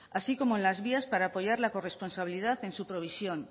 así como en las vías para apoyar la corresponsabilidad en su provisión